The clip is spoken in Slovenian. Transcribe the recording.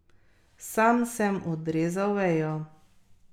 Sam sem odrezal vejo.